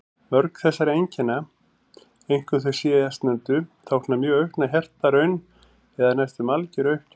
Mörg þessara einkenna, einkum þau síðastnefndu, tákna mjög aukna hjartaraun eða næstum algjöra uppgjöf.